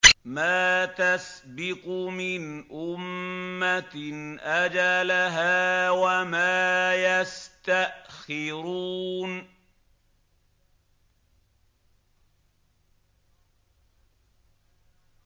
مَا تَسْبِقُ مِنْ أُمَّةٍ أَجَلَهَا وَمَا يَسْتَأْخِرُونَ